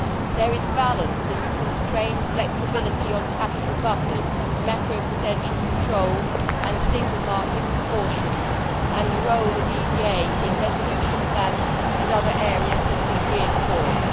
There is balance in the constrained flexibility on capital buffers, macro prudential controls and single market precautions, and the role of EVA in resolution plans and other areas has been reinforced.